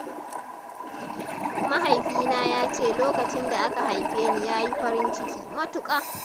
Mahaifina ya ce lokacin da aka haife ni yayi farin ciki matuƙa.